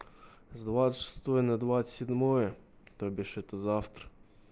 с двадцать шестого на двадцать седьмое то бишь это завтра